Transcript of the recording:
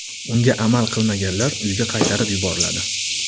Unga amal qilmaganlar uyga qaytarib yuboriladi.